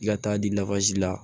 I ka taa di la